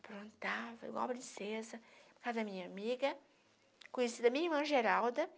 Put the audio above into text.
igual princesa, ia para a casa da minha amiga, conhecida minha irmã, Geralda.